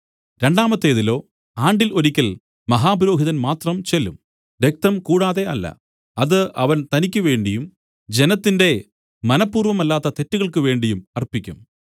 രണ്ടാമത്തേതിലോ ആണ്ടിൽ ഒരിക്കൽ മഹാപുരോഹിതൻ മാത്രം ചെല്ലും രക്തം കൂടാതെ അല്ല അത് അവൻ തനിക്കുവേണ്ടിയും ജനത്തിന്റെ മനപൂർവ്വമല്ലാത്ത തെറ്റുകൾക്കുവേണ്ടിയും അർപ്പിക്കും